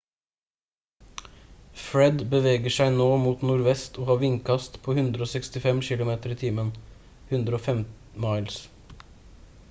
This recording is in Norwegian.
fred beveger seg nå mot nordvest og har vindkast på 165 kilometer i timen 105 miles